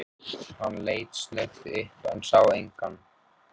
Hann leit snöggt upp, en sá engan.